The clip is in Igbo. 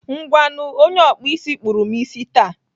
Ngwanụ, onye ọkpụ isi kpụrụ m isi taa.